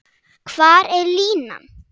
Hvar er línan?